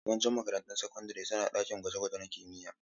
Yawancin makarantun sakandare suna da ɗakin gwaje-gwaje na kimiyya.